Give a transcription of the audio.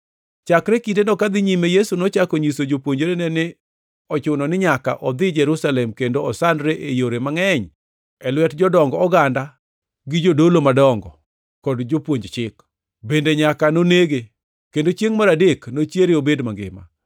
Chakre kindeno kadhi nyime Yesu nochako nyiso jopuonjrene ni ne ochuno ni nyaka odhi Jerusalem kendo osandre e yore mangʼeny e lwet jodong oganda gi jodolo madongo kod jopuonj chik, bende nyaka nonege kendo chiengʼ mar adek nochiere obed mangima.